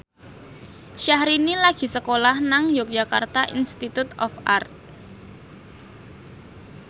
Syahrini lagi sekolah nang Yogyakarta Institute of Art